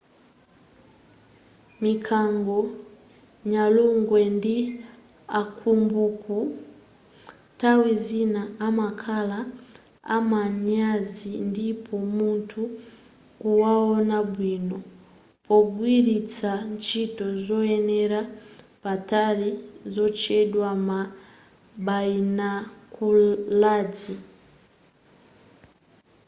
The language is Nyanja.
mikango nyalugwe ndi akambuku nthawi zina amakhala amanyazi ndipo mutha kuwaona bwino pogwiritsa ntchito zoonera patali zotchedwa ma bayinokulazi